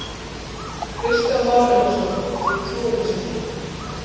Kristján Már Unnarsson: Þú trúir þessu ekki?